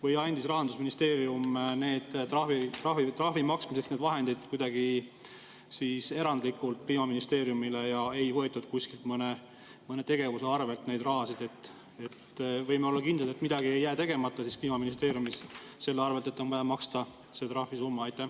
Või andis Rahandusministeerium trahvi maksmiseks need vahendid kuidagi erandlikult Kliimaministeeriumile ja ei võetud kuskilt mõne tegevuse arvelt seda raha ja võime olla kindlad, et midagi ei jää tegemata Kliimaministeeriumis selle tõttu, et on vaja maksta see trahvisumma?